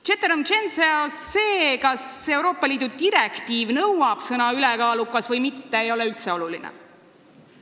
Ceterum censeo – see, kas Euroopa Liidu direktiiv nõuab sõna "ülekaalukas" või mitte, ei ole üldse oluline.